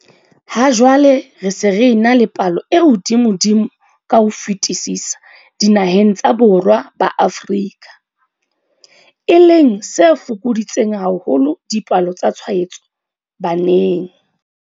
Ha jwale re se re ena le palo e hodimodimo ka ho fetisisa dinaheng tsa Borwa ba Afrika, e leng se fokoditseng haholo dipalo tsa tshwaetso baneng.